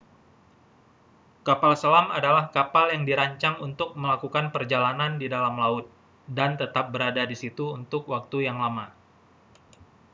kapal selam adalah kapal yang dirancang untuk melakukan perjalanan di dalam laut dan tetap berada di situ untuk waktu yang lama